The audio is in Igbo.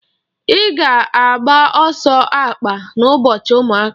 I ga agba ọsọ akpa na ụbọchị ụmụaka?